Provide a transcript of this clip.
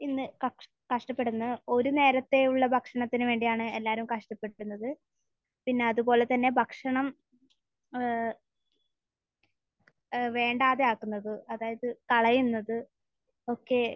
ഇന്ന് കഷ്ടപ്പെടുന്നത്. ഒരു നേരത്തെയുള്ള ഭക്ഷണത്തിന് വേണ്ടിയാണ് എല്ലാവരും കഷ്ടപ്പെടുത്തുന്നത്. പിന്നെ അത്പോലെ തന്നെ ഭക്ഷണം ഏഹ് ഏഹ് വേണ്ടാതെയാക്കുന്നത്. അതായത്, കളയുന്നത് ഒക്കെ.